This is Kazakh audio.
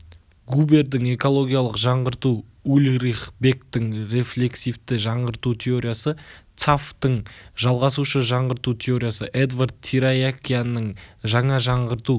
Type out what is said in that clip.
губердің экологиялық жаңғырту ульрих бекктің рефлексивті жаңғырту теориясы цапфтың жалғасушы жаңғырту теориясы эдвард тираякянның жаңа жаңғырту